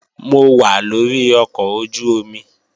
Mo wà lórí ọkọ̀ ojú-omi